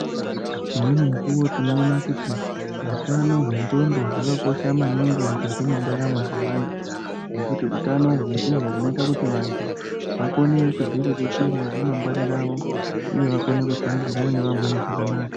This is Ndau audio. Imweni mikuvo tinoona kuti hutano hwendxondo hwakakosha maningi mukati mendaramo dzevantu. Ngekuti hutano ndiho hunoita kuti vantu vakone kudziriritira ramangwani ravo, uye vakone kushandidzana nevamweni zvakanaka.